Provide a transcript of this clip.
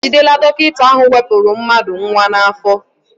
E jidela dọkịta ahụ wepụrụ mmadụ nnwa n'afọ.